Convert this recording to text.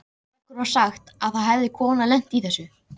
Okkur var sagt að það hefði kona lent í þessu.